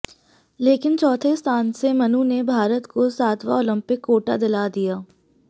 लेकिन चौथे स्थान से मनु ने भारत को सातवां ओलंपिक कोटा दिला दिया